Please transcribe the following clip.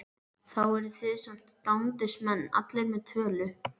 Þá eru þið samt dándismenn allir með tölu!